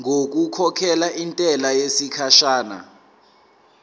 ngokukhokhela intela yesikhashana